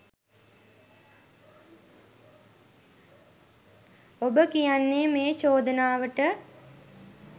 ඔබ කියන්නේ මේ චෝදනාවට